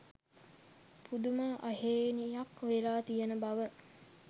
පුදුම අහේනියක් වෙලා තියෙන බව.